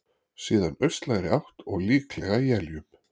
Síðan austlægri átt og líklega éljum